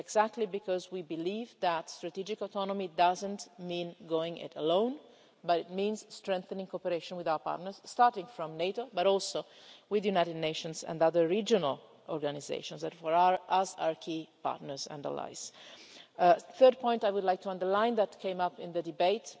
It is exactly because we believe that strategic autonomy doesn't mean going it alone, but means strengthening cooperation with our partners starting from NATO, but also with the United Nations and other regional organisations that for us are key partners and allies. The third point I would like to underline that came up in the debate